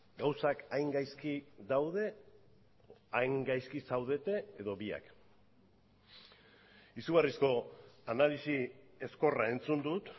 gauzak hain gaizki daude hain gaizki zaudete edo biak izugarrizko analisi ezkorra entzun dut